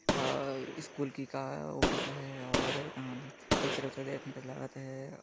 का-- स्कूल की का-- ऑफिस हे और अम्म लागथे ।